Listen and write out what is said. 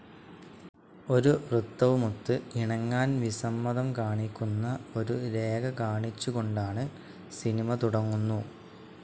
ഒരു വൃത്തവുമൊത്ത് ഇണങ്ങാൻ വിസമ്മതം കാണിക്കുന്ന ഒരു രേഖ കാണിച്ചു കൊണ്ടാണ് സിനിമ തുടങ്ങുന്നു.